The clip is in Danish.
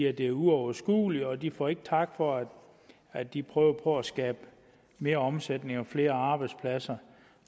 at det er uoverskueligt og de får ikke tak for at de prøver på at skabe mere omsætning og flere arbejdspladser